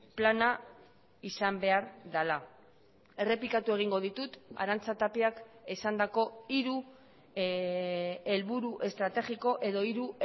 plana izan behar dela errepikatu egingo ditut arantza tapiak esandako hiru helburu estrategiko edo hiru